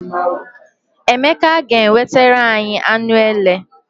Emeka ga- ewetara anyị anụ ele.